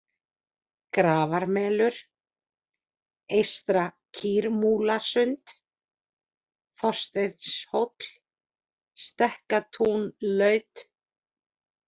Grafarmelur, Eystra-Kýrmúlasund, Þorsteinshóll, Stekkatúnlaut